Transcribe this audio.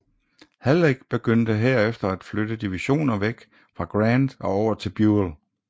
Halleck begyndte herefter at flytte divisioner væk fra Grant og over til Buell